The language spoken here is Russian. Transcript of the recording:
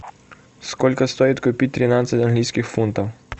сколько стоит купить тринадцать английских фунтов